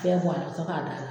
Bɛɛ bɔ ala ka sɔrɔ k'a d'a la